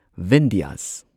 Vindhyas